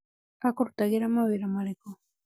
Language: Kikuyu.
Akũrutagira mawĩra marĩkũ?